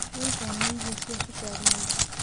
Wĩtheme irio cia cũkarĩ mũĩngĩ